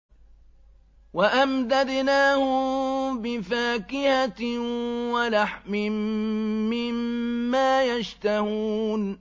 وَأَمْدَدْنَاهُم بِفَاكِهَةٍ وَلَحْمٍ مِّمَّا يَشْتَهُونَ